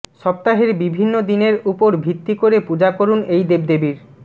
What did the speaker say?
সপ্তাহের বিভিন্ন দিনের উপর ভিত্তি করে পূজা করুন এই দেবদেবীর